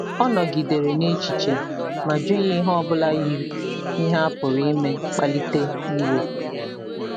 Ọ nọgidere n’echiche ma jụghị ihe ọ bụla yiri ihe a pụrụ ime kpalite iwe.